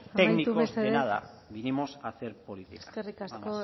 técnicos de nada venimos a hacer política nada más eskerrik asko